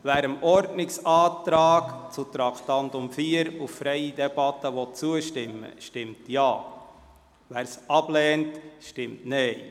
Wer dem Ordnungsantrag betreffend Traktandum 4 auf freie Debatte zustimmt, stimmt Ja, wer diesen ablehnt, stimmt Nein.